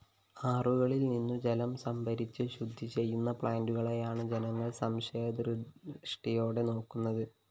ആറുകളില്‍നിന്നു ജലം സംഭരിച്ച് ശുദ്ധിചെയ്യുന്ന പ്ലാന്റുകളെയാണ് ജനങ്ങള്‍ സംശയദൃഷ്ടിയോടെ നോക്കുന്നത്